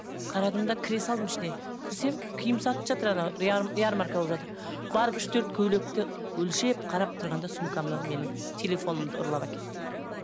қарадым да кіре салдым ішіне кірсем киім сатып жатыр анау ярмарка болып жатыр барып үш төрт көйлекті өлшеп қарап тұрғанда сумкамнан менің телефонымды ұрлап әкетті